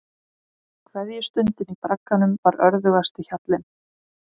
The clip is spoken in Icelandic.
Kveðjustundin í bragganum var örðugasti hjallinn.